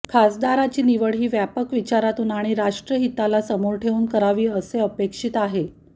खासदाराची निवड ही व्यापक विचारातून आणि राष्ट्रहिताला समोर ठेवून करावी असे अपेक्षित आहे